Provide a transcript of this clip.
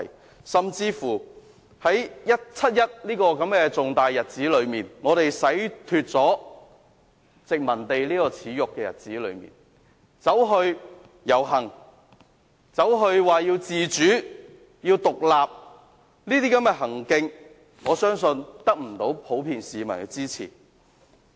更甚者，在七一這個紀念我們洗脫殖民地耻辱的重大日子，竟然有人遊行要求自主和獨立，我相信這種行徑不會得到市民普遍支持。